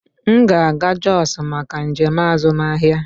M ga-aga Jos maka njem azụmahịa.